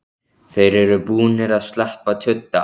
Þeir eru búnir að sleppa tudda!